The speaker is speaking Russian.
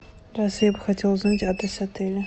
здравствуйте я бы хотела узнать адрес отеля